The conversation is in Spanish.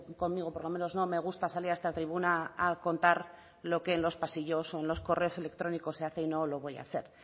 conmigo por lo menos no me gusta salir a esta tribuna a contar lo que en los pasillos o en los correos electrónicos se hace y no lo voy a hacer